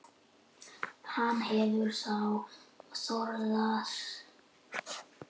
Hann hefur þá þorað að bjóða henni upp og dansar við hana af miklum móði.